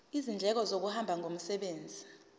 izindleko zokuhamba ngomsebenzi